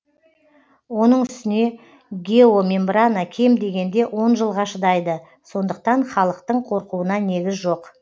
оның үстіне геомембрана кем дегенде он жылға шыдайды сондықтан халықтың қорқуына негіз жоқ